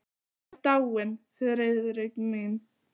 Hún er dáin, Friðrik minn.